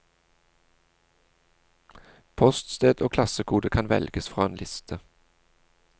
Poststed og klassekode kan velges fra en liste.